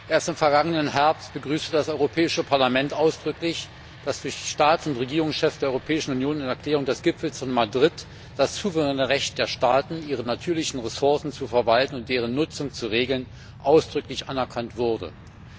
Erst im vergangenen Herbst begrüßte das Europäische Parlament ausdrücklich, dass die Staats und Regierungschefs der Europäischen Union in einer Erklärung des Gipfels von Madrid das souveräne Recht der Staaten, ihre natürlichen Ressourcen zu verwalten und deren Nutzung zu regeln, ausdrücklich anerkannt haben.